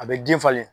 A bɛ den falen